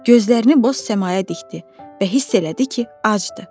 Gözlərini boz səmaya dikdi və hiss elədi ki, acdı.